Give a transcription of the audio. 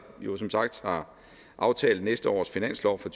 som sagt har aftalt næste års finanslov for